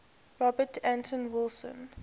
robert anton wilson